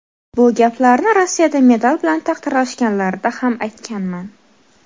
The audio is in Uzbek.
Bu gaplarni Rossiyada medal bilan taqdirlashganlarida ham aytganman.